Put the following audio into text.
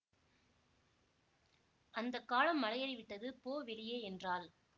அந்த காலம் மலையேறிவிட்டது போ வெளியே என்றாள்